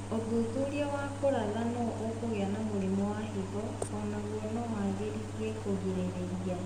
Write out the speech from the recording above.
ũthuthuria wa kũratha nũ ũkũgĩa na mũrimũ wa higo onaguo no wagĩrithie kũrigĩrĩria